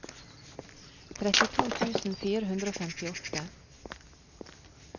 trettito tusen fire hundre og femtiåtte